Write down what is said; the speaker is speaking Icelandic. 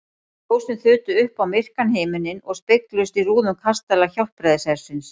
Ljósin þutu upp á myrkan himininn og spegluðust í rúðum kastala Hjálpræðishersins.